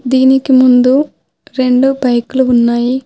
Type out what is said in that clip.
దీనికి ముందు రెండు బైక్లు ఉన్నాయి.